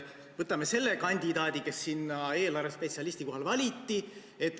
Võtame selle kandidaadi, kes sinna eelarvespetsialisti kohale valiti.